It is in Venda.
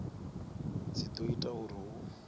dzi do ita uri hu